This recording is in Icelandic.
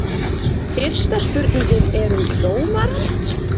Fyrsta spurningin er um dómarann?